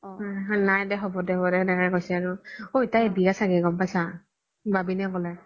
নাই দে হব দে হব দে তেনেকে কৈছি আৰু ওই তাইৰ বিয়া চাগে গ'ম পাইছা বাবিনে ক্'লে